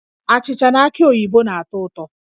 Achịcha na aki oyibo na-atọ ụtọ